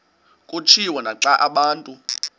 kutshiwo naxa abantu